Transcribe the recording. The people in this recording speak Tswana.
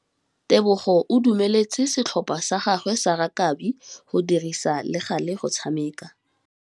Tebogô o dumeletse setlhopha sa gagwe sa rakabi go dirisa le galê go tshameka.